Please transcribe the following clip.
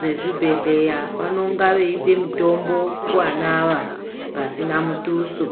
vezvibhedhlera vanenge veipa mutombo kuwana ava pasina mutuso.